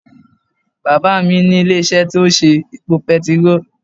Bàbá à mí ní ilé isé tí ó ń ṣe epo petiró